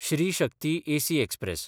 Shri Shakti AC express